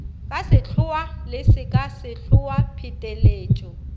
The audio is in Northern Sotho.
ka sehloa le sekasehloa pheteletšo